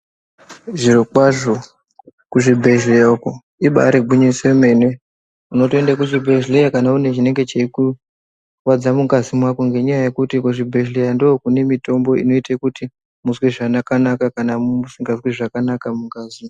Zviro kwazvo kuzvibhedhleya uko ibaari gwinyiso yemene unotoende kuchibhedhleya kana une chinenge cheikurwadza mungazi mwako ngenyaya yekuti kuzvibhedhleya ndoo kune mitombo inoita kuti muzwe zvakanaka kana usingazwi zvakanaka mungazi .